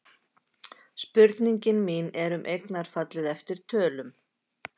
Spurningin mín er um eignarfallið eftir tölum.